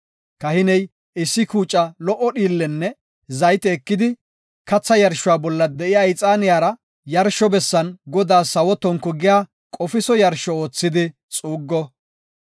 Kahiney issi kuuca lo77o dhiillenne zayte ekidi katha yarshuwa bolla de7iya ixaaniyara yarsho bessan Godaas sawo tonku giya qofiso yarsho oothidi xuuggo.